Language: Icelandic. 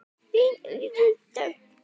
Þín Íris Dögg.